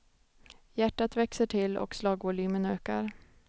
Hjärtat växer till och slagvolymen ökar.